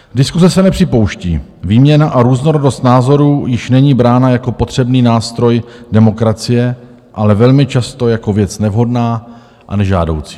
Diskuse se nepřipouští, výměna a různorodost názorů již není brána jako potřebný nástroj demokracie, ale velmi často jako věc nevhodná a nežádoucí.